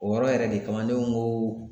O yɔrɔ yɛrɛ de kama ne ko n ko